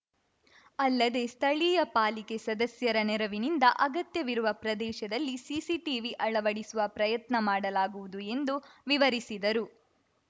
ಅಲ್ಲದೆ ಸ್ಥಳೀಯ ಪಾಲಿಕೆ ಸದಸ್ಯರ ನೆರವಿನಿಂದ ಅಗತ್ಯವಿರುವ ಪ್ರದೇಶದಲ್ಲಿ ಸಿಸಿಟಿವಿ ಅಳವಡಿಸುವ ಪ್ರಯತ್ನ ಮಾಡಲಾಗುವುದು ಎಂದು ವಿವರಿಸಿದರು